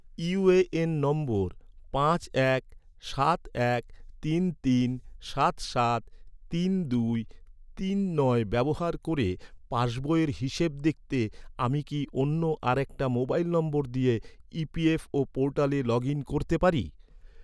UAN number পাঁচ এক সাত এক তিন তিন সাত সাত তিন দুই তিন নয় ব্যবহার করে পাসবইয়ের হিসেব দেখতে, আমি কি অন্য আরেকটা মোবাইল নম্বর দিয়ে, ই.পি.এফ.ও ​​পোর্টালে লগ ইন করতে পারি?